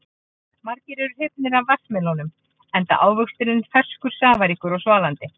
Margir eru hrifnir af vatnsmelónum enda ávöxturinn ferskur, safaríkur og svalandi.